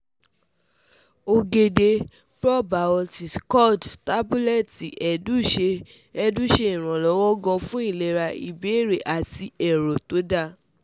Ogede probiotic curd tabuleti edu se edu se iranlowo gan fun ilera ibeere ati ero to da